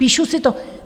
Píšu si to.